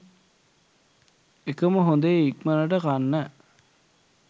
එකම හොඳේ ඉක්මනට කන්න